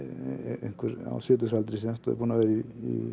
einhver á sjötugsaldri og er búinn að vera í